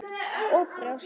Og brjóst.